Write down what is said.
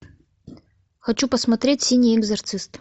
хочу посмотреть синий экзорцист